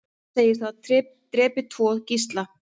Segist hafa drepið tvo gísla